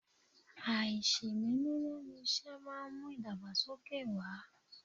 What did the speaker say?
Aisemele lẹ́nu isẹ máa ń mú idagbasoke wá.